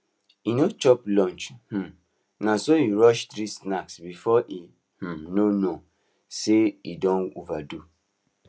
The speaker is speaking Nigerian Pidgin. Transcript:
he no chop lunch um na so he rush three snacks before e um know know say e don overdo